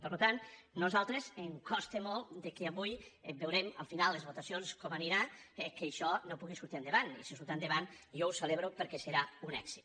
per tant a nosaltres ens costa molt que avui veurem al final les votacions com aniran això no pugui sortir endavant i si surt endavant jo ho celebro perquè serà un èxit